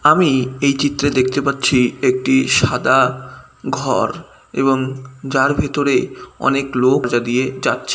আমি এই চিত্রে দেখতে পাচ্ছি। একটি সাদা ঘর এবং যার ভেতরে অনেক লোক যা দিয়ে যাচ্ছে--